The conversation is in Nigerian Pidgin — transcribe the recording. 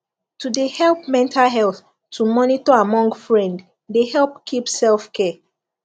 to de help mental health to monitor amon g friend de help keep selfcare